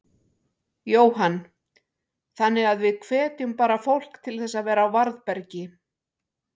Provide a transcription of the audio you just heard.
Jóhann: Þannig að við hvetjum bara fólk til þess að vera á varðbergi?